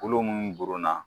Kolo minnu goronna.